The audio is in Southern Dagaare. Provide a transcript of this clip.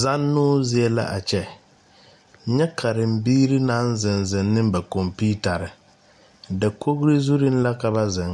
Zannoo zie la a kyɛ nyɛ karembiiri naŋ zeŋ ne ba computers dakogri zuri la ka ba zeŋ